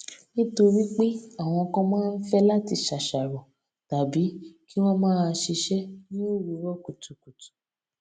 nítorí pé àwọn kan máa ń fé láti ṣàṣàrò tàbí kí wón máa ṣiṣé ní òwúrò kùtùkùtù